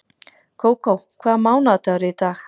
Kókó, hvaða mánaðardagur er í dag?